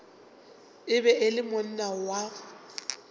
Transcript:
be e le monna wa